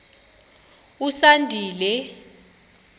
usandile